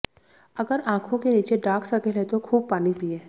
अगर आंखों के नीचे डार्क सर्कल हैं तो खूब पानी पीएं